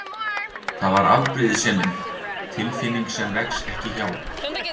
Það var afbrýðisemin, tilfinning sem vex ekki hjá